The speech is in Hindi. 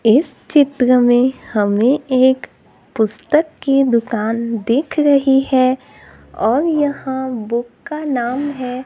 इस चित्र में हमें एक पुस्तक की दुकान दिख रही है और यहां बुक का नाम है।